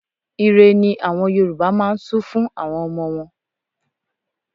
Ìre ni àwọn Yorùbá máa ń su fún àwọn ọmọ wọn.